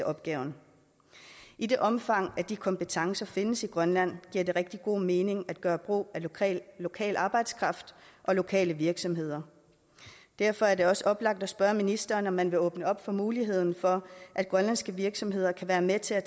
opgaven i det omfang de kompetencer findes i grønland giver det rigtig god mening at gøre brug af lokal arbejdskraft og lokale virksomheder derfor er det også oplagt at spørge ministeren om man vil åbne op for muligheden for at grønlandske virksomheder kan være med til at